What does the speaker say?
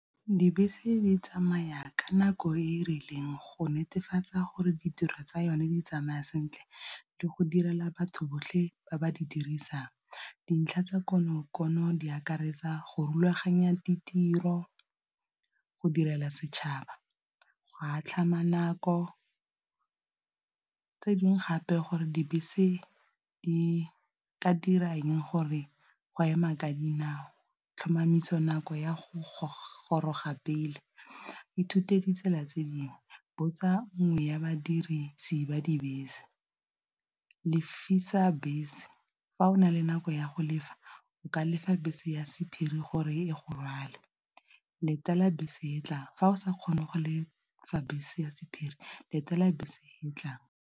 Dibese di tsamaya ka nako e e rileng go netefatsa gore ditiro tsa yone di tsamaya sentle le go direla batho botlhe ba ba di dirisang, dintlha tsa kono kono di akaretsa go rulaganya ditiro, go direla setšhaba, go a tlhama nako. Tse dingwe gape gore dibese di ka dirang gore go ema ka dinao tlhomamiso nako ya go goroga pele, ithute ditsela tse dingwe, botsa mongwe wa badirisi ba dibese, lefisa bese fa o na le nako ya go lefa o ka lefa bese ya sephiri gore e go rwale, letela bese e tla fa o sa kgone go lefa bese ya sephiri letela bese e tlang.